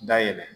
Dayɛlɛ